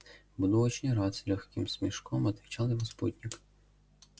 буду очень рад с лёгким смешком отвечал его спутник